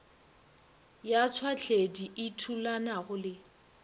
ya tšhwahledi e thulanago le